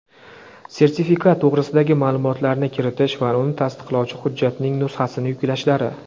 sertifikat to‘g‘risidagi ma’lumotlarni kiritish va uni tasdiqlovchi hujjatning nusxasini yuklashlari;.